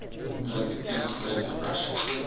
olympic tennis players of russia